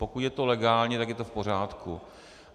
Pokud je to legálně, tak je to v pořádku.